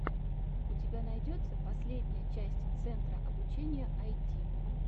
у тебя найдется последняя часть центра обучения айти